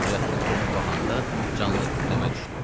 Nurəddin dönüb baxanda canı titrəmə düşdü.